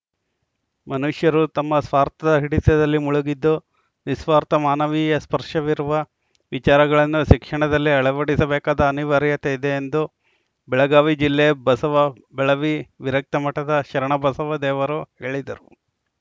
ಮನುಷ್ಯರು ತಮ್ಮ ಸ್ವಾರ್ಥದ ಹಿಡಿತದಲ್ಲಿ ಮುಳುಗಿದ್ದು ನಿಸ್ವಾರ್ಥ ಮಾನವೀಯ ಸ್ಪರ್ಶವಿರುವ ವಿಚಾರಗಳನ್ನು ಶಿಕ್ಷಣದಲ್ಲಿ ಅಳವಡಿಸಬೇಕಾದ ಅನಿವಾರ್ಯತೆ ಇದೆ ಎಂದು ಬೆಳಗಾವಿ ಜಿಲ್ಲೆ ಬಸವಬೆಳವಿ ವಿರಕ್ತಮಠದ ಶರಣಬಸವದೇವರು ಹೇಳಿದರು